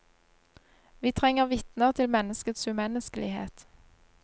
Vi trenger vitner til menneskets umenneskelighet.